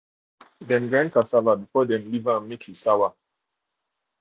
dem grind cassava before before dem leave am make e sour